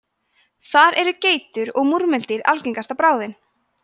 þar eru geitur og múrmeldýr algengasta bráðin